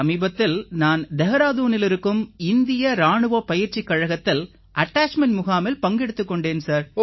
சமீபத்தில் நான் தேஹ்ராதூனில் இருக்கும் இந்திய இராணுவப் பயிற்சிக் கழகத்தில் அட்டாச்மென்ட் முகாமில் பங்கெடுத்துக் கொண்டேன்